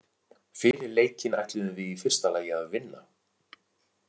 Fyrir leikinn ætluðum við í fyrsta lagi að vinna.